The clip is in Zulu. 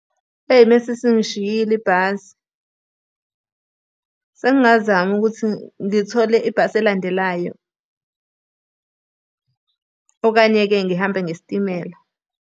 Eyi uma isingishiyile ibhasi, sengingazama ukuthi ngithole ibhasi elandelayo okanye-ke ngihambe ngesitimela.